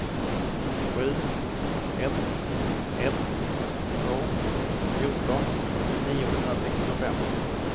sju ett ett två fjorton niohundrasextiofem